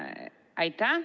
Aitäh!